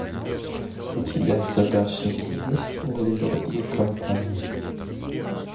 у тебя в загашнике есть оливер и компания